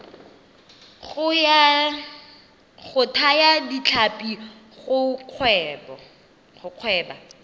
go thaya ditlhapi go gweba